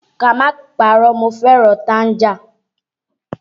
Ká má parọ́, mo fẹ́ràn tanga